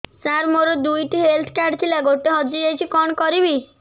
ସାର ମୋର ଦୁଇ ଟି ହେଲ୍ଥ କାର୍ଡ ଥିଲା ଗୋଟେ ହଜିଯାଇଛି କଣ କରିବି